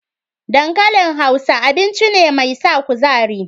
Dankalin Hausa, abinci ne mai sa kuzari.